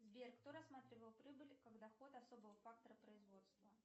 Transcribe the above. сбер кто рассматривал прибыль как доход особого фактора производства